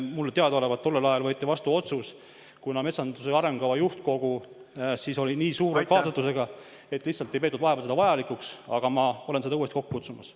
Mulle teadaolevalt tollel ajal võeti vastu otsus, et kuna metsanduse arengukava juhtkogu oli nii suur, siis lihtsalt ei peetud metsandusnõukogu vajalikuks, aga ma olen seda uuesti kokku kutsumas.